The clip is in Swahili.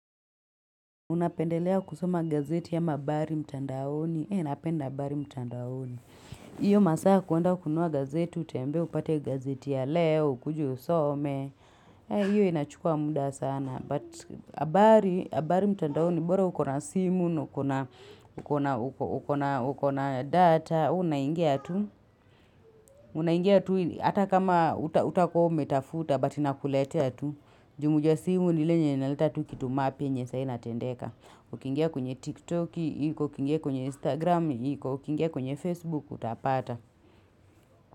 Unapendelea kusoma gazeti ama habari mtandaoni. He napenda habari mtandaoni. Hiyo masaa kuenda kununua gazeti, utembee upate gazeti ya leo, ukuje usome. He, hiyo inachukua muda sana. But habari mtandaoni, bora uko na simu, uko na data, unangia tu. Unangia tu, hata kama hutakuwa umetafuta, but inakuletea tu. Jumuja simu ni lile yenye inaleta tu kitu mapya yenye saa hii inatendeka Ukingia kwenye TikTok iko, ukingia kwenye Instagram iko, ukingia kwenye Facebook, utapata.